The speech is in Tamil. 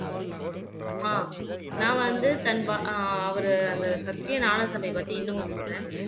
அஹ் நான் வந்து தன்வா அஹ் அவரு அந்த சத்திய ஞான சபை பத்தி இன்னம் கொஞ்சம் சொல்றேன்